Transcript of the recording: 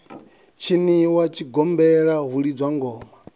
tshiniwa tshigombela hu lidzwa ngoma